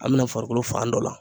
An bɛna farikolo fan dɔ la